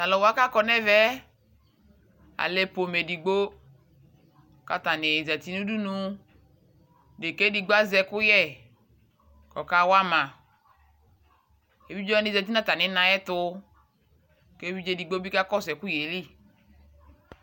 Tʊ aluwa kakɔ nʊ ɛmɛ alɛ udunu edigbo, kʊ atanɩ zati nʊ udunu, deka edigbo azɛ ɛkʊ yɛ kʊ ɔkawama, evidzewanɩ zati nʊ atamina ayʊ ɛtʊ, kʊ evidze edigbo bɩ kakɔsʊ ɛkʊ yɛ li